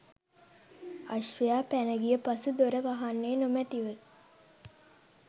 අශ්වයා පැනගිය පසු දොර වහන්නේ නොමැතිව